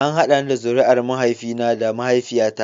An haɗa ni da zuriyar mahaifina da mahaifiyata.